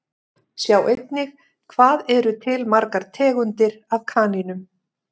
Sjá einnig Hvað eru til margar tegundir af kanínum?